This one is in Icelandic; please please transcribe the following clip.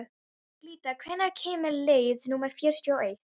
Glytta, hvenær kemur leið númer fjörutíu og eitt?